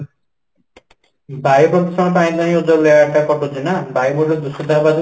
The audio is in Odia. ବାୟୂପ୍ରଦୂଷଣ ପାଇଁ ତ ଓଜନ layer ଟା କଟୁଛି ନା ବାୟୁମଣ୍ଡଳ ଦୂଷିତ ହେବାର